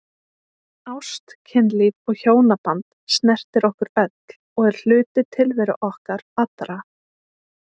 Ást, kynlíf og hjónaband snertir okkur öll og er hluti tilveru okkar allra.